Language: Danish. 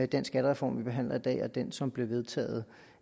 den skattereform vi behandler i dag og den som blev vedtaget